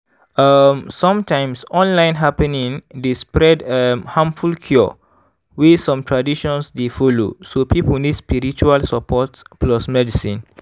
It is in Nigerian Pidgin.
um sometimes online happening dey spread um harmful cure wey some traditions dey follow so people nid spiritual support plus medicine. um